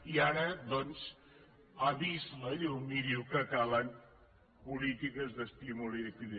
i ara doncs ha vist la llum i diu que calen polítiques d’estímul i de creixement